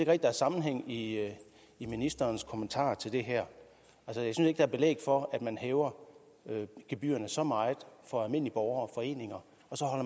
at der er sammenhæng i i ministerens kommentarer til det her jeg synes ikke der er belæg for at man hæver gebyrerne så meget for almindelige borgere foreninger